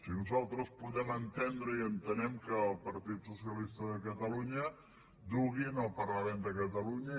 i nosaltres podem entendre i ho entenem que el partit socialista de catalunya dugui al parlament de catalunya